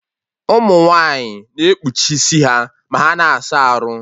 Ụmụ nwaanyị na ekpuchi isi ha ma ha na-asa arụ